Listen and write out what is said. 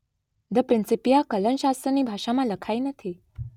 the Principia કલનશાસ્ત્રની ભાષામાં લખાઈ નથી